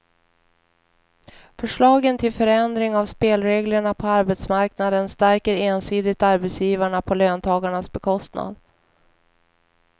Förslagen till förändring av spelreglerna på arbetsmarknaden stärker ensidigt arbetsgivarna på löntagarnas bekostnad.